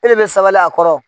E de bɛ sabali a kɔrɔ.